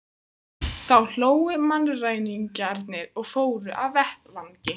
Þá hlógu mannræningjarnir og fóru af vettvangi.